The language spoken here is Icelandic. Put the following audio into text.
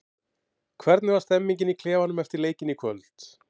Hvernig var stemningin í klefanum eftir leikinn í kvöld?